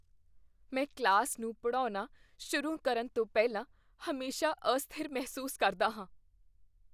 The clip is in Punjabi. ਮੈਂ ਕਲਾਸ ਨੂੰ ਪੜ੍ਹਾਉਣਾ ਸ਼ੁਰੂ ਕਰਨ ਤੋਂ ਪਹਿਲਾਂ ਹਮੇਸ਼ਾਂ ਅਸਥਿਰ ਮਹਿਸੂਸ ਕਰਦਾ ਹਾਂ।